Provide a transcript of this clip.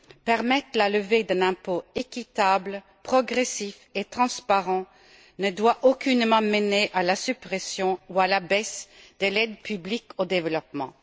Permettre la levée d'un impôt équitable, progressif et transparent ne doit aucunement mener à la suppression ou à la baisse de l'aide publique au développement.